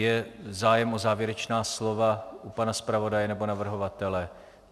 Je zájem o závěrečná slova u pana zpravodaje nebo navrhovatele?